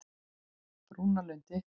Brúnalundi